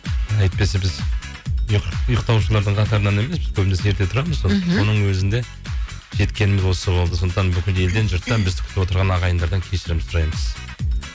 әйтпесе біз ұйықтаушылардың қатарынан емеспіз көбінесе ерте тұрамыз мхм соның өзінде жеткеніміз осы болды сондықтан бүкіл елден жұрттан бізді күтіп отырған ағайындардан кешірім сұраймыз